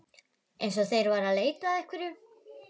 Eins og þeir væru að leita að einhverju.